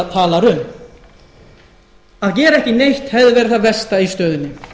talar um að gera ekki neitt hefði verið það versta í stöðunni